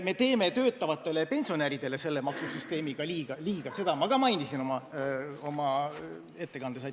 Me teeme töötavatele pensionäridele selle maksusüsteemiga liiga, seda ma ka mainisin oma ettekandes.